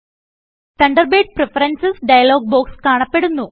Thunderbird preferences dialog box കാണപ്പെടുന്നു